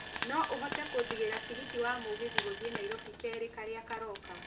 no ũhote kũjigĩra tigiti wa mũgithi gũthiĩ nairobi kerĩ karĩa karoka